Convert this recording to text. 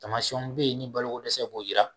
Taamasiyɛnw be ye ni balo ko dɛsɛ b'o yira